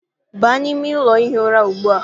Baa n'ime ụlọ ihi ụra ugbu a!